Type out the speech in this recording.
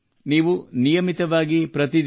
ನೀವು ನಿಯಮಿತವಾಗಿ ಯೋಗ ಮಾಡಬೇಕು